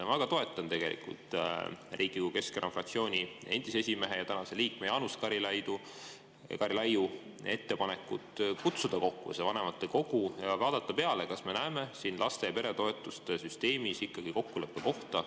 Ma väga toetan tegelikult Riigikogu Keskerakonna fraktsiooni endise esimehe ja tänase liikme Jaanus Karilaiu ettepanekut kutsuda kokku vanematekogu ja vaadata, kas me näeme laste‑ ja peretoetuste süsteemis ikkagi kokkuleppe kohta.